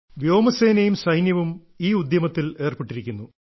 വ്യോമസേനയും സൈന്യവും ഈ ഉദ്യമത്തിൽ ഏർപ്പെട്ടിരിക്കുന്നു